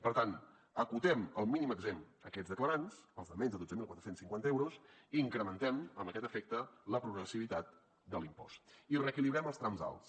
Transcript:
per tant acotem el mínim exempt a aquests declarants els de menys de dotze mil quatre cents i cinquanta euros incrementen amb aquest efecte la progressivitat de l’impost i reequilibrem els trams alts